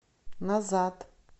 назад